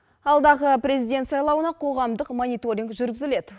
алдағы президент сайлауна қоғамдық мониторинг жүргізіледі